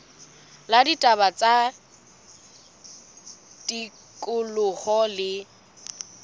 la ditaba tsa tikoloho le